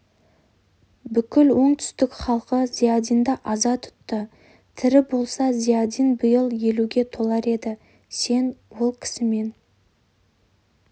бүкіл оңтүстік халқы зиядинді аза тұтты тірі болса зиядин биыл елуге толар еді сен ол кісімен